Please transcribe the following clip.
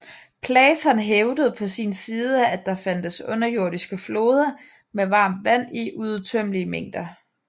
Platon hævdede på sin side at der fandtes underjordiske floder med varmt vand i uudtømmelige mængder